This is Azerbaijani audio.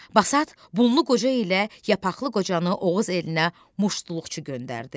Basat bunu qoca ilə yapaqlı qocanı Oğuz elinə muştuluqçu göndərdi.